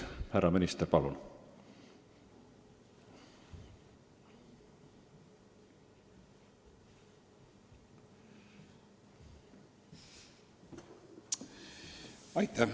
Härra minister, palun!